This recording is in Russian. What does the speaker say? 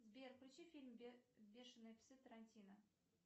сбер включи фильм бешеные псы тарантино